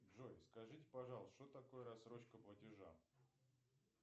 джой скажите пожалуйста что такое рассрочка платежа